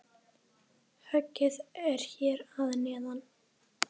Höggið er hér að neðan.